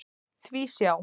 Því sjá!